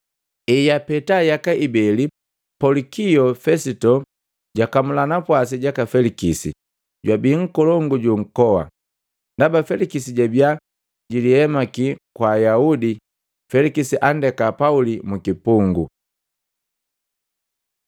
Ejapeta yaka jibeli, Polikio Fesito jwaakamula napwasi jaka Felikisi, jwabiia nkolongu ju nkoa. Ndaba Felikisi jabiya jilihemake kwa Ayaudi, Felikisi andeka Pauli mukipungu.